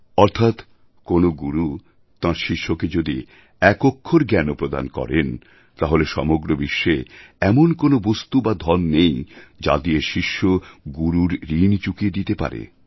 অর্থাৎ কোনও গুরু তাঁর শিষ্যকে যদি এক অক্ষর জ্ঞানও প্রদান করেন তাহলে সমগ্র বিশ্বে এমন কোনও বস্তু বা ধন নেই যা দিয়ে শিষ্য গুরুর ঋণ চুকিয়ে দিতে পারে